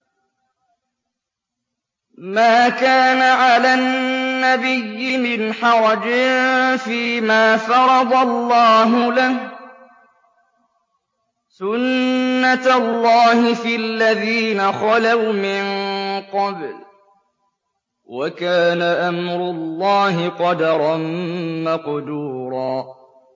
مَّا كَانَ عَلَى النَّبِيِّ مِنْ حَرَجٍ فِيمَا فَرَضَ اللَّهُ لَهُ ۖ سُنَّةَ اللَّهِ فِي الَّذِينَ خَلَوْا مِن قَبْلُ ۚ وَكَانَ أَمْرُ اللَّهِ قَدَرًا مَّقْدُورًا